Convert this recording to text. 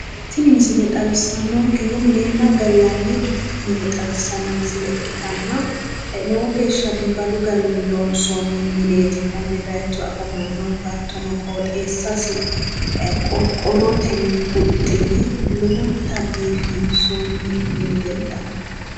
Tini misile xawisannonkehu minenna gallani mine xawissano misile ikkitanna lowo geeshsha biifadu garinni loonsonni mineeti konne bayiicho afamannohu hattono qoxxeessasi qorqorotenni huxxine lowonta biifinsoinni mini leellano.